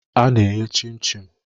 A na-eghe chim-chim.